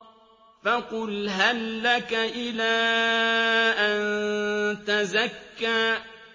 فَقُلْ هَل لَّكَ إِلَىٰ أَن تَزَكَّىٰ